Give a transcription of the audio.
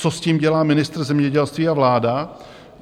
Co s tím dělá ministr zemědělství a vláda?